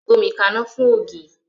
Gbómi kaná fún ògì!